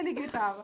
Ele gritava.